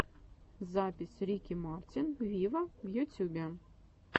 запись рики мартин виво в ютюбе